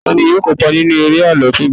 tani yíò kópa nínú eré àlọ tí nbọ